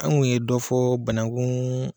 An ŋun ye dɔ fɔ banankuun